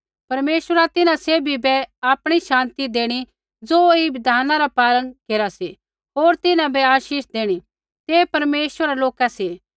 परमेश्वरा तिन्हां सैभी बै आपणी शान्ति देणी ज़ो ऐई बिधाना रा पालन केरा सी होर तिन्हां बै आशीष देणी ते परमेश्वरा रै लोका सी